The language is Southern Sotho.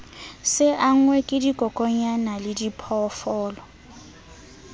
se angwe ke dikokwanyana lediphoofolo